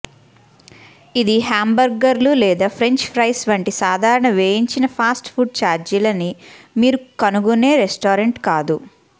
ఇది హాంబర్గర్లు లేదా ఫ్రెంచ్ ఫ్రైస్ వంటి సాధారణ వేయించిన ఫాస్ట్ ఫుడ్ ఛార్జీలని మీరు కనుగొనే రెస్టారెంట్ కాదు